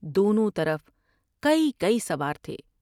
دونوں طرف کئی کئی سوار تھے ۔